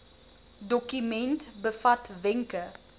dokument bevat wenke